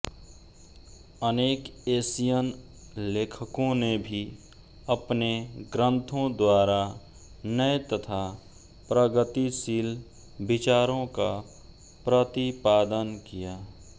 अनेक एशियन लेखकों ने भी अपने ग्रन्थों द्वारा नये तथा प्रगतिशील विचारों का प्रतिपादन किया